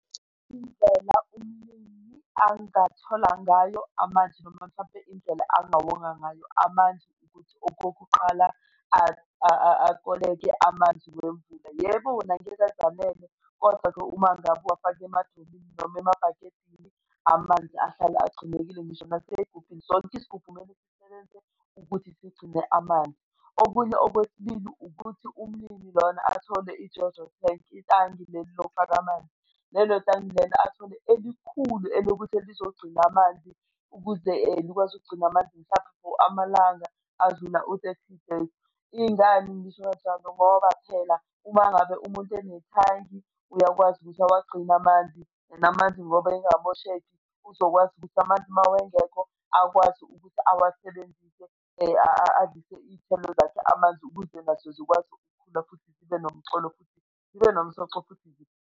Indlela umlimi angathola ngayo amanzi noma mhlampe indlela angawonga ngayo amanzi ukuthi okokuqala akoleke amanzi wemvula. Yebo, wona angeke uze anelwe, kodwa-ke uma ngabe uwafake emadramini noma emabhakedeni, amanzi ahlale agcinekile, ngisho nasey'gubhini sonke isigubhu kumele sisebenzise ukuthi sigcine amanzi. Okunye okwesibili ukuthi umlimi lona athole i-JoJo tank, itangi leli lokufaka amanzi. Lelo tangi lelo athole elikhulu elukuthi lizogcina amanzi ukuze likwazi ukugcina amanzi mhlampe for amalanga adlula u-thirty days. Ingani ngisho kanjalo? Ngoba phela uma ngabe umuntu enethangi, uyakwazi ukuthi uwagcine amanzi and amanzi ngoba engamosheki, uzokwazi ukuthi amanzi uma engekho akwazi ukuthi awasebenzise, azwise iy'thelo zakhe amanzi ukuze nazo zikwazi ukukhula futhi zibe nomcolo futhi zibe nomsoco, futhi .